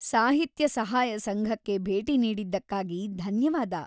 ಸಾಹಿತ್ಯ ಸಹಾಯ ಸಂಘಕ್ಕೆ ಭೇಟಿ ನೀಡಿದ್ದಕ್ಕಾಗಿ ಧನ್ಯವಾದ.